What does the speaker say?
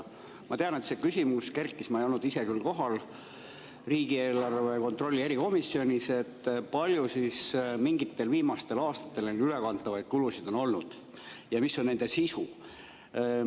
Ma tean, et kerkis üles küsimus – ma ei olnud ise küll riigieelarve kontrolli erikomisjonis kohal –, kui palju viimastel aastatel neid ülekantavaid kulusid on olnud ja mis on nende sisu.